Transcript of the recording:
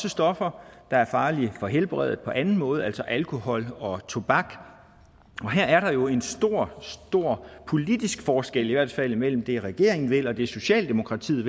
af stoffer der er farlige for helbredet på anden måde altså alkohol og tobak og her er der jo en stor stor politisk forskel i hvert fald imellem det regeringen vil og det socialdemokratiet